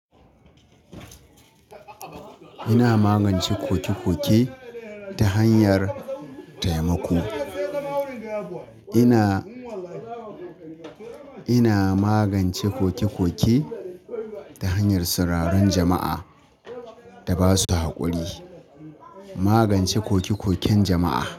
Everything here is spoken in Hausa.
Ina magance koke koke ta hanyar taimako. Ina, ina magance koke koke ta hanyar sauraron jama'a da ba su haƙuri. Magance koke koken jama'a.